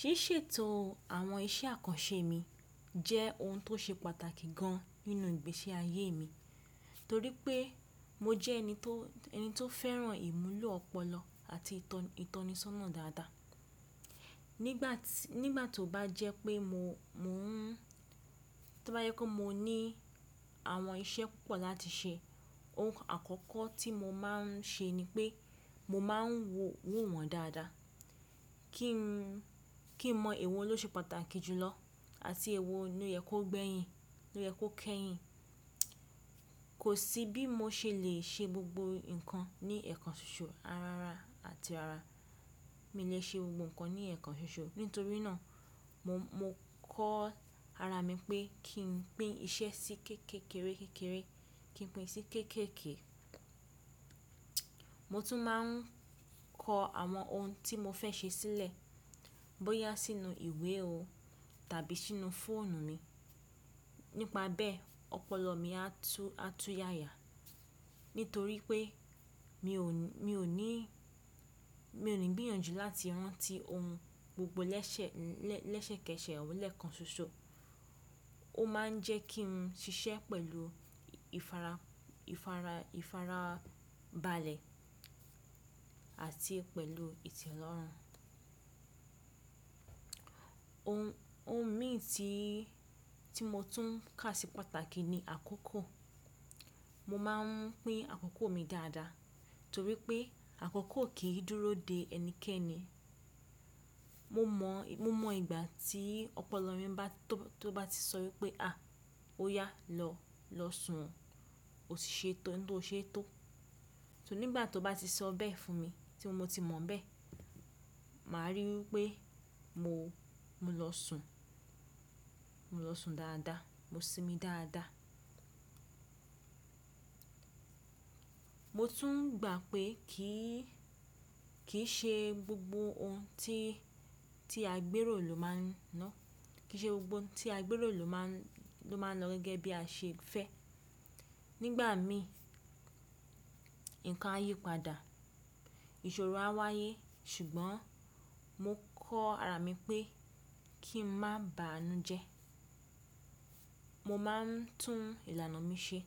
Ṣíṣètò àwọn iṣẹ́ àkànṣe mi jẹ́ ohun tó ṣe pàtàkì gan inú ìgbésí ayé mi torí pé mo jẹ́ ẹni tó, ẹni tó fẹ́ràn ìmulo ọpọlọ àti ìtọ, ìtọnisọ́nà dáadáa. Nígbà tí, nígbà tó bá jẹ́ pé mo, mó n, tó bá yẹ kó mo ní àwọn iṣẹ́ púpọ̀ láti ṣe, ohun àkọ́kọ́ tí mo máa ń ṣe ni pé mo máa ń wo, wò wọ́n dáadáa kí n, kí n mọ èwo ló ṣe pàtàkì jùlọ àti èwo ló yẹ kó gbẹ́yìn, ló yẹ kó kẹ́yìn. Kò sí bí mo ṣe lè ṣe gbogbo nǹkan ní ẹ̀kan ṣoṣo, ara ara àti ara mi lè ṣe gbogbo nǹkan ní ẹ̀kan ṣoṣo. Nítorí náà mo, mo kọ́ ara mi pé kí n pín iṣẹ́ sí kéékèékèékéré, kí n pín sí kéékèèké. Mo tún máa ń kọ àwọn ohun tí mo fẹ́ ṣe sílẹ̀, bóyá sínú ìwé o tàbí sínú fóònù mi. Nípa bẹ́ẹ̀, ọpọlọ mi á tú, á tú yaya nítorí pé mi ò ní, mi ò ní, mi ò ní gbìyànjú láti rán ti ohun gbogbo lẹ́sẹ̀, lẹ́sẹ̀kẹsẹ̀ ọ̀wọ́n lẹ́ẹ̀kan ṣoṣo. Ó máa ń jẹ́ kí n ṣiṣẹ́ pẹ̀lú ìfara, ìfara, ìfarabalẹ̀ àti pẹ̀lú ìtẹ́lọ́rùn. Ohun, ohun mí tí, tí mo tún kà sí pàtàkì ni àkókò. Mo máa ń pín àkókò mi dáadáa torí pé àkókò kì í dúró de ẹnikẹ́ni. Mo mọ̀, mo mọ̀ ìgbà tí ọpọlọ mi bá tó, tó bá ti sọ wípé "à! Ó yá, lọ, lọ sùn. Ó ti ṣe tán tó ṣe tó." Torí nígbà tó bá ti sọ bẹ́ẹ̀ fún mi, tí mo ti mọ̀ bẹ́ẹ̀, màá ríi wípé mo, mo lọ sùn, mo lọ sùn dáadáa, mo sinmi dáadáa. Mo tún gbà pé kì í, kì í ṣe gbogbo ohun tí, tí àgbéró ló máa ń ná, kì í ṣe gbogbo ohun tí àgbéró ló má, ló máa ń lọ gẹ́gẹ́ bí a ṣe fẹ́. Nígbà mí, nǹkan á yípadà, ìṣòro á wáyé ṣùgbọ́n mo kọ́ ara mi pé kí n má ba inú jẹ́. Mo máa ń tún ìlànà mi ṣe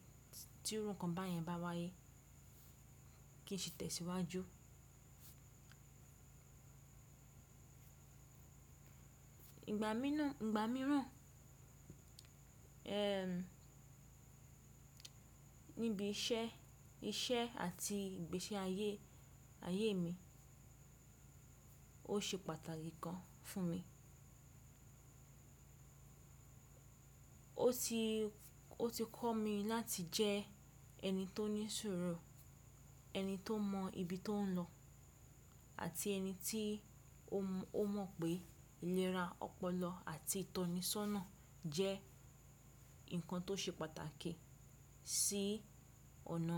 tí run ǹkan báyẹn bá wáyé kí n sì tẹ̀síwájú. Ìgbà mí náà, ìgbà mìíràn, ẹ́m, níbi iṣẹ́, iṣẹ́ àti ìgbésí ayé, ayé mi ó ṣe pàtàkì gan fún mi. Ó ti, ó ti kọ́ mi láti jẹ ẹni tó ní ìṣòro, ẹni tó mọ ibi tó ń lọ àti ẹni tí ó mọ̀ pé ìlera ọpọlọ àti ìtọnisọ́nà jẹ́ nǹkan tó ṣe pàtàkì sí ọ̀nà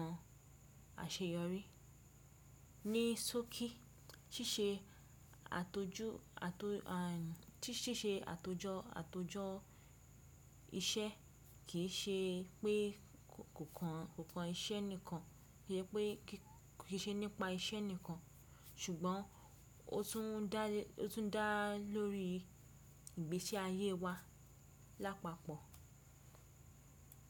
àṣeyọrí. Ni sọ́kí ṣíṣe àtojú, àto, à, tí ṣíṣe àtojọ, àtojọ iṣẹ́ kì í ṣe pé kò kan, kò kan iṣẹ́ nìkan, kì í ṣe pé kì í ṣe nípa iṣẹ́ nìkan ṣùgbọ́n ó tún dá, ó tún dá lórí ìgbése ayé wa lápapọ̀.